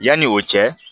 Yanni o cɛ